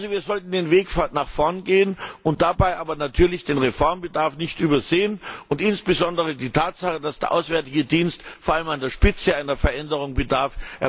Wir sollten also den Weg nach vorn gehen und dabei aber natürlich den Reformbedarf nicht übersehen, und insbesondere die Tatsache, dass der Auswärtige Dienst vor allem an der Spitze einer Veränderung bedarf.